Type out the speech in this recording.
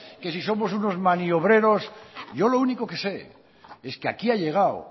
que si somos unos maniobreros yo lo único que sé es que aquí ha llegado